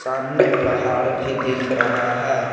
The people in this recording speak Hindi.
सामने पहाड़ भी दिख रहा है।